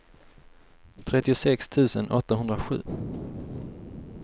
trettiosex tusen åttahundrasju